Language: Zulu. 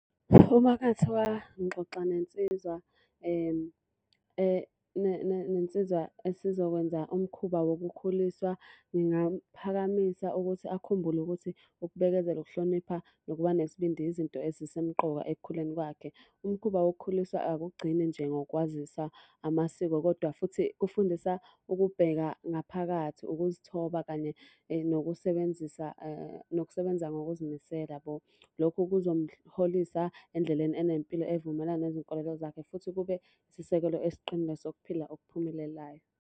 Uma kungathiwa ngixoxa nensizwa nensizwa esizokwenza umkhuba wokukhuliswa, ngingaphakamisa ukuthi akhumbule ukuthi ukubekezela, ukuhlonipha nokuba nesibindi izinto ezisemqoka ekukhuleni kwakhe. Umkhuba wokukhuliswa akugcini nje ngokwazisa amasiko, kodwa futhi kufundisa ukubheka ngaphakathi, ukuzithoba, kanye nokusebenzisa nokusebenza ngokuzimisela yabo. Lokhu kuzomholisa endleleni enempilo evumelana nezinkolelo zakhe futhi kube isisekelo esiqinile sokuphila okuphumelelayo.